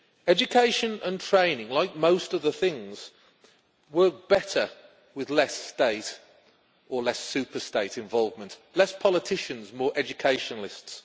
Education and training, like most other things, work better with less state, or less superstate, involvement, less politicians, more educationalists.